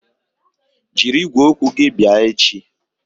Jiri igwe okwu gị bịa echi!